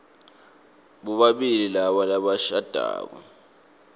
bobabili laba labashadako